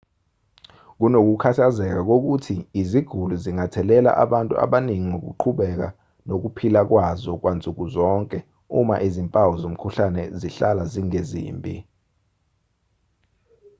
kunokukhathazeka kokuthi iziguli zingathelela abantu abaningi ngokuqhubeka nokuphila kwazo kwansuku zonke uma izimpawu zomkhuhlane zihlala zingezimbi